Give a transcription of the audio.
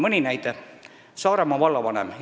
Hiljuti käis siin Saaremaa vallavanem.